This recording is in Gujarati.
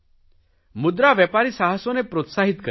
મુદ્રા વેપારી સાહસોને પ્રોત્સાહીત કરે છે